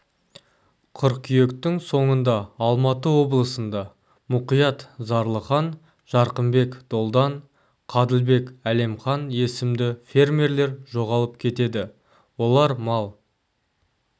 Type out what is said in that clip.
қыркүйектің соңында алматы облысында мұқият зарылхан жарқынбек долдан қадылбек әлемқан есімді фермерлер жоғалып кетеді олар мал